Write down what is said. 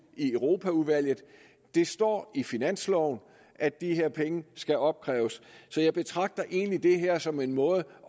i europaudvalget det står i finansloven at de her penge skal opkræves så jeg betragter egentlig det her som en måde